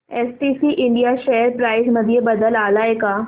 STC India share price मध्ये बदल आलाय का